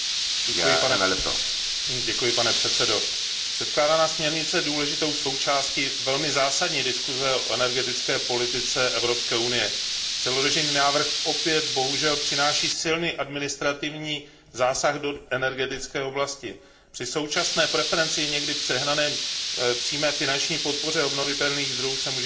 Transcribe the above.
Pane předsedající, předkládaná směrnice je důležitou součástí velmi zásadní diskuse o energetické politice Evropské unie. Předložený návrh opět bohužel přináší silný administrativní zásah do energetické oblasti. Při současné preferenci a někdy i přehnané přímé finanční podpoře obnovitelných zdrojů se může ještě více zhoršit situace na trhu.